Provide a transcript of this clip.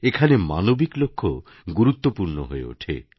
এখানে মানবিক লক্ষ্য গুরুত্বপূর্ণ হয়ে ওঠে